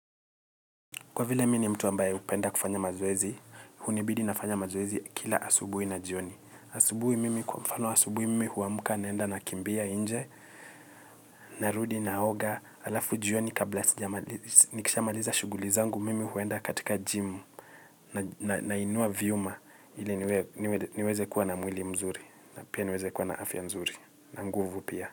Kwa vile mi ni mtu ambaye upenda kufanya mazoezi, hunibidi nafanya mazoezi kila asubui na jioni. Asubui mimi kwa mfano asubui mimi huamuka naenda nakimbia inje, narudi naoga, alafu jioni kabla nikishamaliza shuguli zangu mimi huenda katika jimu na inua viuma ili niweze kuwa na mwili mzuri na pia niweze kuwa na afya nzuri. Na nguvu pia.